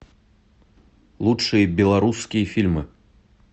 лучшие белорусские фильмы